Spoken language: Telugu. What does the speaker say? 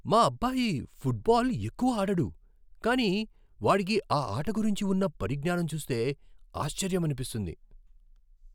మా అబ్బాయి ఫుట్బాల్ ఎక్కువ ఆడడు, కానీ వాడికి ఆ ఆట గురించి ఉన్న పరిజ్ఞానం చూస్తే ఆశ్చర్యమనిపిస్తుంది.